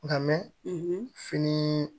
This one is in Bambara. Nka mɛ fini